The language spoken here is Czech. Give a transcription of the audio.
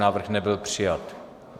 Návrh nebyl přijat.